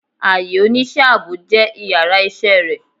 Aiyè onisẹ́ aabo jẹ íyarà iṣẹ re